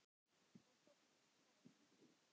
Og þóttist góð.